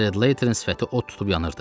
Sled Laterin sifəti od tutub yanırdı.